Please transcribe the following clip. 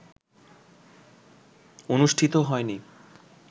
অনুষ্ঠিত হয়নি